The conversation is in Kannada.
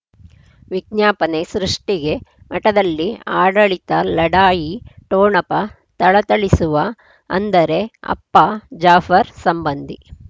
ವಿಜ್ಞಾಪನೆ ಸೃಷ್ಟಿಗೆ ಮಠದಲ್ಲಿ ಆಡಳಿತ ಲಢಾಯಿ ಠೋಣಪ ಥಳಥಳಿಸುವ ಅಂದರೆ ಅಪ್ಪ ಜಾಫರ್ ಸಂಬಂಧಿ